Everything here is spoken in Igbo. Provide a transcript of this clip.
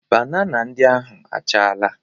Banana ndị ahụ achaala.